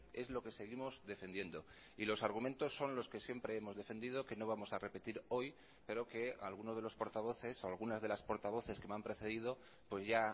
es lo que seguimos defendiendo y los argumentos son los que siempre hemos defendido que no vamos a repetir hoy pero que alguno de los portavoces o algunas de las portavoces que me han precedido pues ya